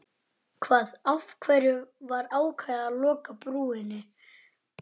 Hún fór úr gallajakkanum þegar myndin byrjaði.